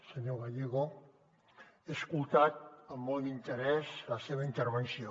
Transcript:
senyor gallego he escoltat amb molt interès la seva intervenció